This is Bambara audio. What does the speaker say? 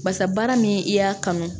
Basa baara min i y'a kanu